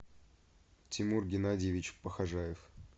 тимур геннадьевич похожаев